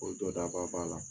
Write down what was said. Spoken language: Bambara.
O jɔdaba b'a la